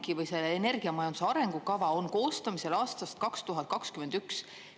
ENMAK või see energiamajanduse arengukava on koostamisel aastast 2021.